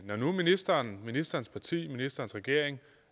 når nu ministeren ministerens parti og ministerens regering